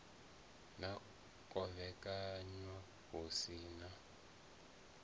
ḽa kovhekanywa hu si na